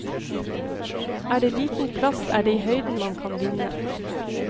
Er det liten plass er det i høyden man kan vinne.